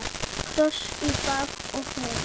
Kross í bak og fyrir.